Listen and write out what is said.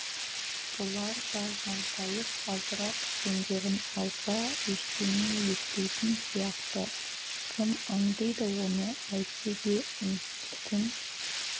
бұлар да жантайып азырақ демдерін алса ештеңе етпейтін сияқты кім аңдиды оны әйтсе де үнсіз түн